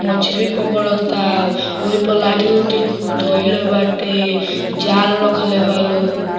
मछरी पकड़ता ओइ पर लाठी-उठी खूब धइले बाटे जाल रखले बा लो।